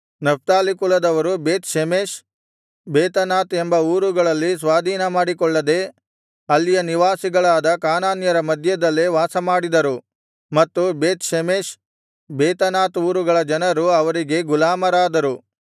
Naphtali ಕುಲದವರು Beth Shemesh Bethanath ಎಂಬ ಊರುಗಳಲ್ಲಿ ಸ್ವಾಧೀನ ಮಾಡಿಕೊಳ್ಳದೆ ಅಲ್ಲಿಯ ನಿವಾಸಿಗಳಾದ ಕಾನಾನ್ಯರ ಮಧ್ಯದಲ್ಲೇ ವಾಸಮಾಡಿದರು ಮತ್ತು ಬೇತ್ ಷೆಮೆಷ್ ಬೇತನಾತ್ ಊರುಗಳ ಜನರು ಅವರಿಗೆ ಗುಲಾಮರಾದರು